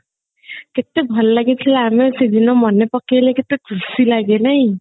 କେତେ ଭଲ ଲାଗିଥିଲା ଆମେ ସେଦିନ ମାନେ ପକେଇଲେ କେତେ ଖୁସି ଲାଗେ ନାଇଁ